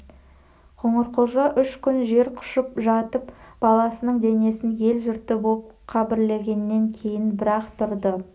қоңырқұлжа үш күн жер құшып жатып баласының денесін ел-жұрты боп қабірлегеннен кейін бір-ақ тұрды